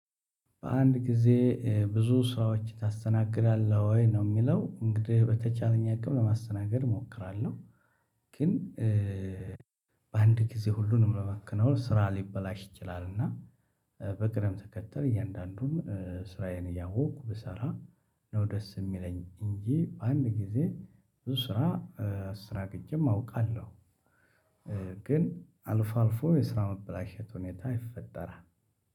በአንድ ጊዜ ብዙ ስራዎች ታስተናግዳለህ ወይ? ነው የሚለው እንግዲህ በተቻለኝ አቅም ለማስተናገድ እሞክራለሁ። ግን በአንድ ጊዜ ሁሉንም ለማከናወን ስራ ሊበላሽ ይችላል። እና በቅደም ተከተል እያንዳንዱን ስራዬን እያወቅኩ ብሰራ ነው ደስ የሚለኝ እንጂ በአንድ ጊዜ ብዙ ስራ እስተናግጄም አውቃለሁ። ግን አልፎ አልፎ የስራ መበላሸት ሁኔታ ይፈጠራል።